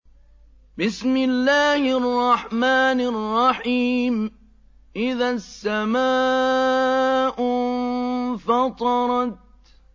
إِذَا السَّمَاءُ انفَطَرَتْ